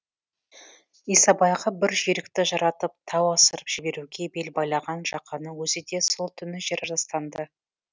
исабайға бір жүйрікті жаратып тау асырып жіберуге бел байлаған жақанның өзі де сол түні жер жастанды